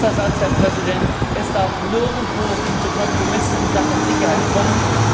Letzter Satz, Herr Präsident Es darf nirgendwo zu Kompromissen in Sachen Sicherheit kommen.